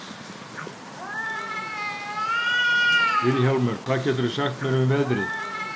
Vilhjálmur, hvað geturðu sagt mér um veðrið?